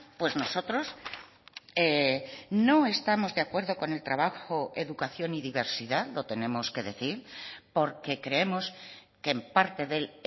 pues nosotros no estamos de acuerdo con el trabajo educación y diversidad lo tenemos que decir porque creemos que en parte de él